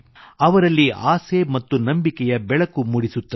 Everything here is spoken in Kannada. ಅವರಲ್ಲಿ ಆಸೆ ಮತ್ತು ನಂಬಿಕೆಯ ಬೆಳಕು ಮೂಡಿಸುತ್ತದೆ